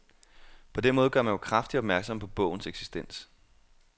På den måde gør man jo kraftigt opmærksom på bogens eksistens.